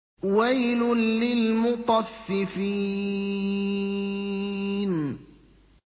وَيْلٌ لِّلْمُطَفِّفِينَ